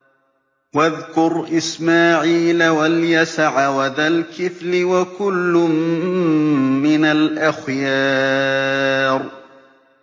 وَاذْكُرْ إِسْمَاعِيلَ وَالْيَسَعَ وَذَا الْكِفْلِ ۖ وَكُلٌّ مِّنَ الْأَخْيَارِ